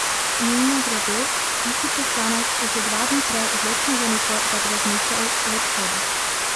Mimogrede, isti poslanec je še dva dni prej odločno zanikal, da bi razmišljal o odhodu.